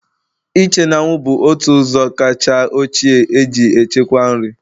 Ịche n'anwụ bụ otu n'ime ụzọ kacha ochie e ji echekwa nri